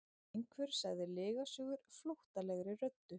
Einhver sagði lygasögur flóttalegri röddu.